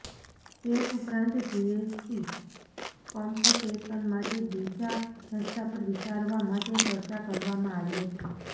cess ઉપરાંત GST compensation માટે બીજા રસ્તા પર વિચારવા માટે ચર્ચા કરવામાં આવી હતી